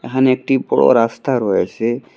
এহানে একটি বড়ো রাস্তা রয়েছে।